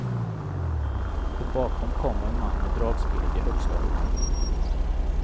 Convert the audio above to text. Och bakom kommer en man med dragspelet i högsta hugg.